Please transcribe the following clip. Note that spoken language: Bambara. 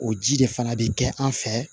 O ji de fana bɛ kɛ an fɛ